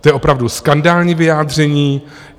To je opravdu skandální vyjádření.